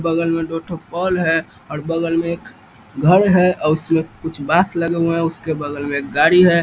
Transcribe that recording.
बगल में दो थो पोल है और बगल में एक घर है और उसमें कुछ बाँस लगे हुए है उसके बगल में एक गाड़ी है |